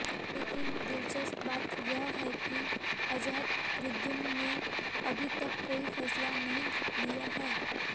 लेकिन दिलचस्प बात यह है कि अज़हरुद्दीन ने अभी तक कोई फ़ैसला नहीं लिया है